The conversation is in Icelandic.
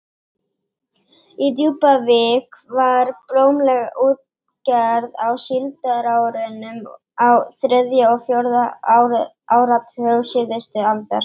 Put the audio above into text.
Í Djúpavík var blómleg útgerð á síldarárunum á þriðja og fjórða áratug síðustu aldar.